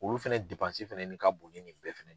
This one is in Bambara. Olu fɛnɛ fɛnɛ nin ka bon ni nin bɛɛ fɛnɛ ye.